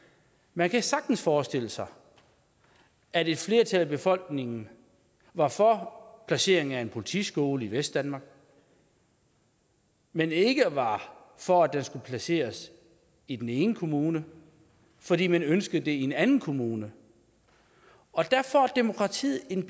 man kan sagtens forestille sig at et flertal af befolkningen var for placeringen af en politiskole i vestdanmark men ikke var for at den skulle placeres i den ene kommune fordi man ønskede den i en anden kommune derfor er demokratiet en